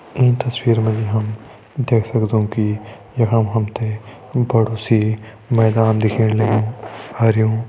ईं तस्वीर मा जी हम देख सगदों कि यखम हमतें बड़ु सी मैदान दिखेण लग्युं हरयूं --